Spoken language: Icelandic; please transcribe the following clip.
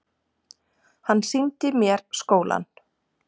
Hann sýndi mér skólann.